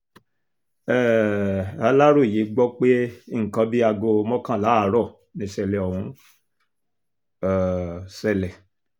um aláròye gbọ́ pé nǹkan bíi aago mọ́kànlá àárọ̀ nìṣẹ̀lẹ̀ ọ̀hún um ṣẹlẹ̀